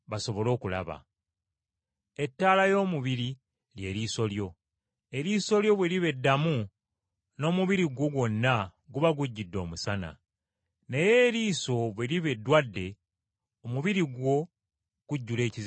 Eriiso y’ettabaaza y’omubiri gwo. Eriiso bwe liba eddamu, n’omubiri gwo gwonna guba gujjudde omusana. Naye eriiso bwe liba eddwadde, omubiri gwo gujjula ekizikiza.